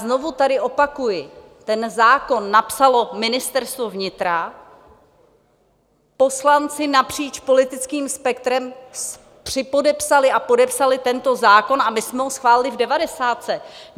Znovu tady opakuji, ten zákon napsalo Ministerstvo vnitra, poslanci napříč politickým spektrem připodepsali a podepsali tento zákon a my jsme ho schválili v devadesátce.